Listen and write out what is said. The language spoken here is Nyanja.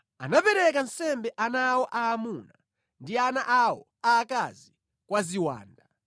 Anapereka nsembe ana awo aamuna ndi ana awo aakazi kwa ziwanda.